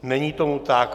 Není tomu tak.